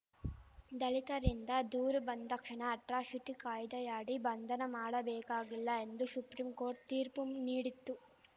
ದಲಿತರಿಂದ ದೂರು ಬಂದಾಕ್ಷಣ ಅಟ್ರಾಶಿಟಿ ಕಾಯ್ದೆಯಡಿ ಬಂಧನ ಮಾಡಬೇಕಾಗಿಲ್ಲ ಎಂದು ಶುಪ್ರಿಂಕೋರ್ಟ್‌ ತೀರ್ಪು ನೀಡಿತ್ತು